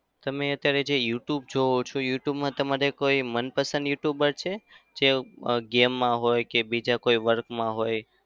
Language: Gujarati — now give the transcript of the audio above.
તમે અત્યારે જે youtube જોવો છો youtube માં તમારે કોઈ મનપસંદ youtuber છે જે game માં હોય કે બીજા કોઈ work માં હોય?